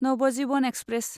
Navjivan express